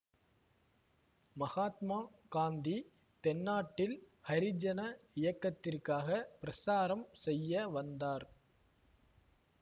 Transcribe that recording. மகாத்மா காந்தி தென்னாட்டில் ஹரிஜன இயக்கத்திற்காக பிரசாரம் செய்ய வந்தார்